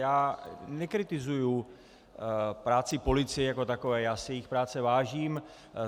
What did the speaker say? Já nekritizuji práci policie jako takové, já si jejich práce vážím.